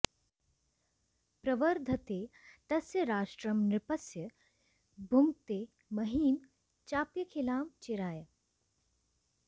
प्रवर्धते तस्य राष्ट्रं नृपस्य भुङ्क्ते महीं चाप्यखिलां चिराय